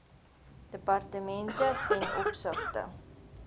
departemente ten opsigte